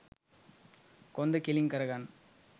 කොන්ද කෙළින් කරගන්න.